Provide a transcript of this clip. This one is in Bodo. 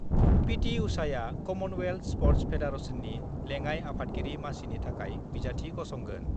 पिटि उषाआ कमनवेल्थ स्पर्टस फेडारेसननि लेङाइ आफादगिरि मासिनि थाखाय बिजाथि गसंगोन